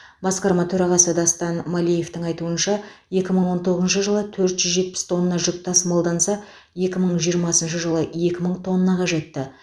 басқарма төрағасы дастан малиевтің айтуынша екі мың он тоғызыншы жылы төрт жүз жетпіс тонна жүк тасымалданса екі мың жиырмасыншы жылы екі мың тоннаға жетті